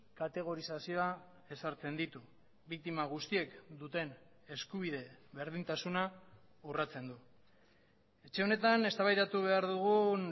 kategorizazioa ezartzen ditu biktima guztiek duten eskubide berdintasuna urratzen du etxe honetan eztabaidatu behar dugun